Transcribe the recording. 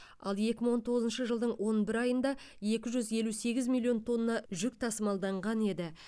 ал екі мың он тоғызыншы жылдың он бір айында екі жүз елу сегіз миллион тонна жүк тасымалданған еді